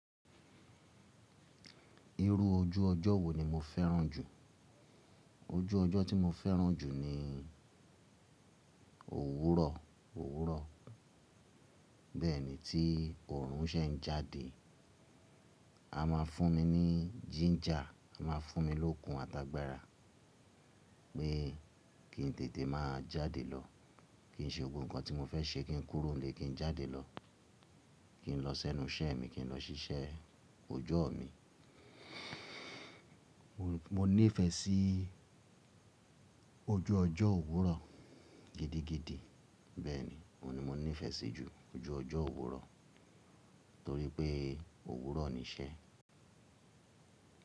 Irú ojú ọjọ́ wo ni mo fẹ́ràn jù? Ojú ọjọ́ tí mo fẹ́ràn jù ni òwúrọ̀, òwúrọ̀. Bẹ́ẹ̀ni tí oòrùn ṣe ń jáde, a máa fún mi ní jíńjà, a máa fún mi lókun àtágbara pé kí n tètè máa jáde lọ, kí n ṣe gbogbo nǹkan tí mo fẹ́ ṣe, kí n kúrò nílé, kí n jáde lọ, kí n lọ sẹ́nu iṣẹ́ mi, kí n lọ ṣiṣẹ́ ojọ́ mi. Mo nífẹ̀ẹ́ sí ojú ọjọ́ òwúrọ̀ gidigidi. Bẹ́ẹ̀ ni, òun ni mo nífẹ̀ẹ́ sí jù, ojú ọjọ́ òwúrọ̀ torí pé òwúrọ̀ ni iṣẹ́.